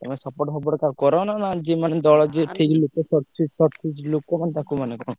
ତମେ support ଫପୋର୍ଟ କାହାକୁ କର ନା ଯିଏ ମାନେ ଦଳ ଯିଏ ଠିକ୍ ଲୋକ ଲୋକ ମାନେ ତାକୁ ମାନେ କଣ?